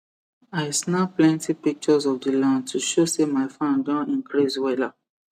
i snap plenty pictures of the land to show say my farm don increase wella